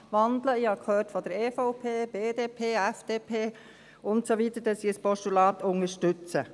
Ich habe von der EVP, der BDP, der FDP und so weiter gehört, dass sie ein Postulat unterstützen.